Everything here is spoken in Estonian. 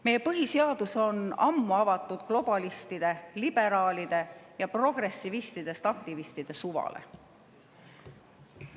Meie põhiseadus on ammu avatud globalistide, liberaalide ja progressivistidest aktivistide suvale.